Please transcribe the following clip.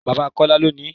Bàbá Kọ́lá ló ni ín.